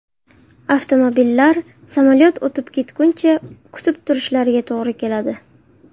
Avtomobillar samolyot o‘tib ketguncha kutib turishlariga to‘g‘ri keladi.